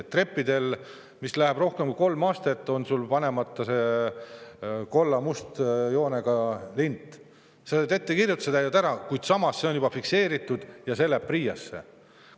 Kui trepil on rohkem kui kolm astet ja sul on panemata see musta-kollase lint, siis sa saad ettekirjutuse, täidad selle ära, aga see on juba fikseeritud ja see läheb PRIA‑sse.